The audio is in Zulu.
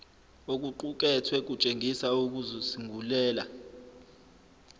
okuqukethwe kutshengisa ukuzisungulela